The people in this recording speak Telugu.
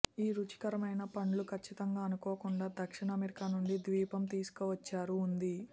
ఈ రుచికరమైన పండ్లు ఖచ్చితంగా అనుకోకుండా దక్షిణ అమెరికా నుండి ద్వీపం తీసుకువచ్చారు ఉంది